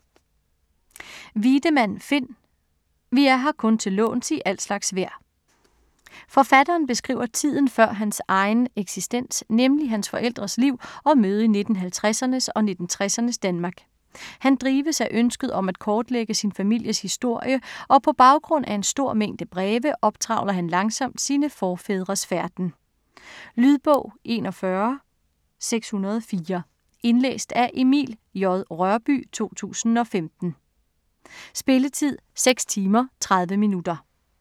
Wiedemann, Finn: Vi er her kun til låns i al slags vejr Forfatteren beskriver tiden før hans egen eksistens, nemlig hans forældres liv og møde i 1950'ernes og 1960'ernes Danmark. Han drives af ønsket om at kortlægge sin families historie og på baggrund af en stor mængde breve optrævler han langsomt sine forfædres færden. Lydbog 41604 Indlæst af Emil J. Rørbye, 2015. Spilletid: 6 timer, 30 minutter.